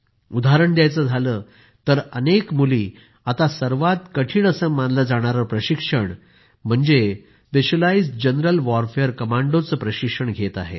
उदाहरण द्यायचे झाले तर अनेक कन्या आता सर्वात कठिण असे मानले जाणारे प्रशिक्षण म्हणजे स्पेशलाईज्ड जंगल वॉरफेअर कमांडोजचे प्रशिक्षणही घेत आहेत